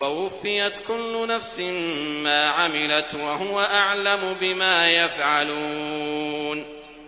وَوُفِّيَتْ كُلُّ نَفْسٍ مَّا عَمِلَتْ وَهُوَ أَعْلَمُ بِمَا يَفْعَلُونَ